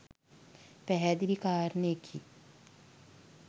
පැහැදිලි කාරණයකි